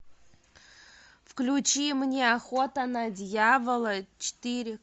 включи мне охота на дьявола четыре